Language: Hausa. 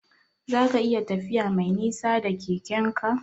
Zaka iya tafiya Mai nisa da Keke'n ka?